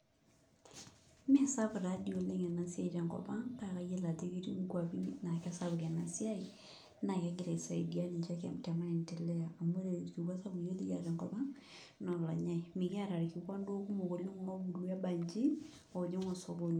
Mee sapuk taa dii oleng' ena siai tenkop ang kake kayiolo ajo ketii nkuapi naa kesapuk ena siai naa kegira aisaidia ninche te maendeleo amu ore orkikua sapuk likiata iyiook tenkop ang' naa olonyai mikiata irkikuan duo kumok oleng' oobulu ebanji oojing' osokoni.